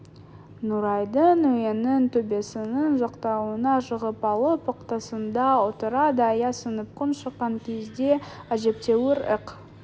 нұрайдың үйінің төбесінің жақтауына шығып алып ықтасында отырады аяз сынып күн шыққан кезде әжептәуір ық